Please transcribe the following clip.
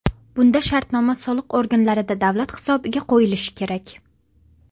Bunda shartnoma soliq organlarida davlat hisobiga qo‘yilishi kerak.